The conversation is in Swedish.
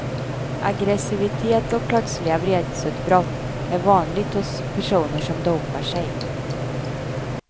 Aggressivitet och plötsliga vredesutbrott är vanligt hos personer som dopar sig.